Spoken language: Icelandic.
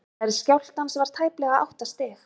stærð skjálftans var tæplega átta stig